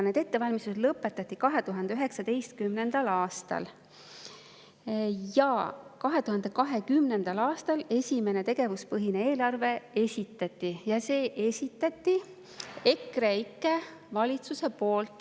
Need ettevalmistused lõpetati 2019. aastal ja 2020. aastal esitati esimene tegevuspõhine eelarve, selle esitas EKREIKE valitsus.